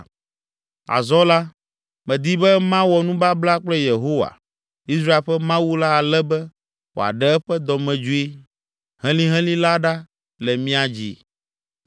“Azɔ la, medi be mawɔ nubabla kple Yehowa, Israel ƒe Mawu la ale be wòaɖe eƒe dɔmedzoe helihelĩ la ɖa le mía dzi.